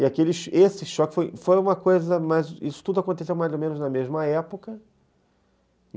E aquele e esse choque foi uma coisa, mas isso tudo aconteceu mais ou menos na mesma época